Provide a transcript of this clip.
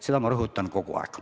Seda ma rõhutan kogu aeg.